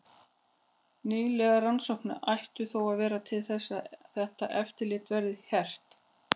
Nýlegar rannsóknir ættu þó að verða til þess að þetta eftirlit verði hert.